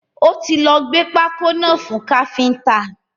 Ó ti lọ gbé pákó náà fún káfíntà.